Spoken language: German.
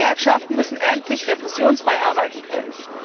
Gewerkschaften müssen endlich repressionsfrei arbeiten können.